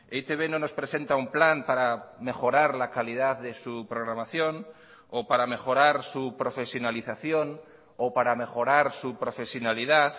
e i te be no nos presenta un plan para mejorar la calidad de su programación o para mejorar su profesionalización o para mejorar su profesionalidad